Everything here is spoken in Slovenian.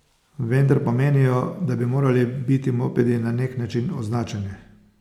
Vendar pa menijo, da bi morali biti mopedi na nek način označeni.